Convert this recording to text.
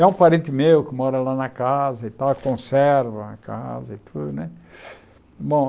É um parente meu que mora lá na casa e tal e conserva a casa e tudo né. Bom